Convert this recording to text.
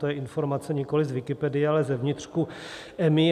To je informace nikoliv z Wikipedie, ale z vnitřku EMA.